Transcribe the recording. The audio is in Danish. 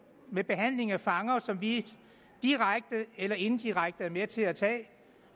med behandling af fanger som vi direkte eller indirekte er med til at